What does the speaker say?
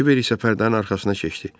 Kiver isə pərdənin arxasına keçdi.